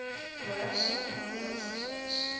russian orthodox church